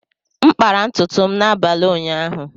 M kpara ntutu m n’abalị ụnyaahụ.